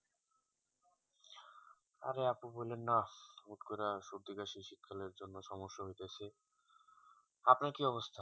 অরে আপু বলেন না হুট্ করে সর্দি কাশি শীত কালের জন্য সমস্যা হইতাছে আপনার কি অবস্থা